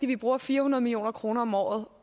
vi bruger fire hundrede million kroner om året